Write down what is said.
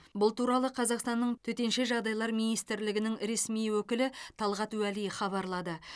бұл туралы қазақстанның төтенше жағдайлар министрлігінің ресми өкілі талғат уәли хабарлады